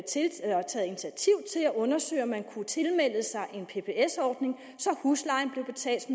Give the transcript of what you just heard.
undersøge om man kunne tilmelde sig en pbs ordning så huslejen blev betalt